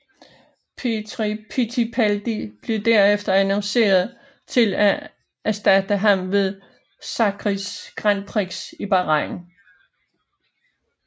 Pietro Fittipaldi blev derefter annonceret til at erstatte ham ved Sakhirs Grand Prix i Bahrain